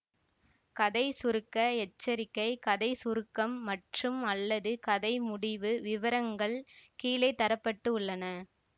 கதை சுருக்க எச்சரிக்கை கதை சுருக்கம் மற்றும்அல்லது கதை முடிவு விவரங்கள் கீழே தர பட்டுள்ளன